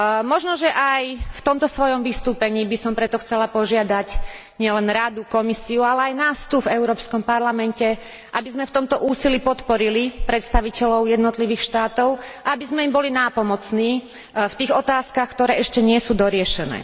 Možnože aj v tomto svojom vystúpení by som preto chcela požiadať nielen Radu, Komisiu, ale aj nás tu v Európskom parlamente, aby sme v tomto úsilí podporili predstaviteľov jednotlivých štátov a aby sme im boli nápomocní v tých otázkach, ktoré ešte nie sú doriešené.